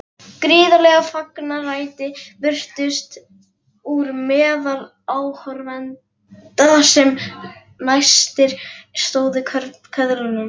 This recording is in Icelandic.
Gríðarleg fagnaðarlæti brutust út meðal áhorfenda sem næstir stóðu köðlunum.